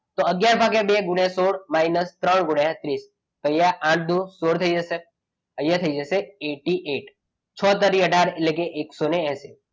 તો અગિયાર ભાગ્યા બે ગુણ્યા સોળ minus ત્રણ ગુણ્યા ત્રીસ તો અહીંયા આઠ દુ સોળ થઈ જશે અહીંયા થઈ જશે. eighty eight છ તરી અઢાર એટલે કે એકસો એસી.